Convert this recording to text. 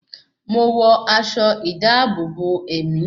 Mo wọ aṣọ ìdáàbòbò ẹ̀mí